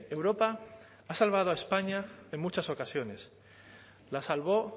europa ha salvado a españa en muchas ocasiones la salvó